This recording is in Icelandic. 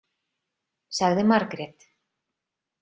, sagði Margrét.